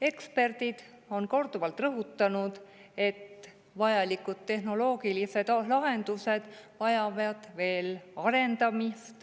Eksperdid on korduvalt rõhutanud, et vajalikke tehnoloogilisi lahendusi tuleb veel arendada.